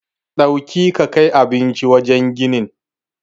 Dauki ka kai abincin wajen ginin.